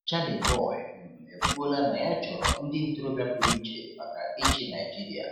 Charly Boy um ekwuola na ya chọrọ ndị ntorobịa pụrụiche maka ịchị Naịjirịa.